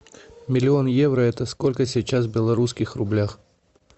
миллион евро это сколько сейчас в белорусских рублях